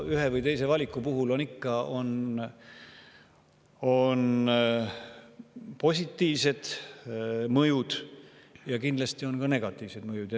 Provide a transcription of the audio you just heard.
Ühe või teise valiku puhul on positiivsed mõjud ja kindlasti on ka negatiivsed mõjud.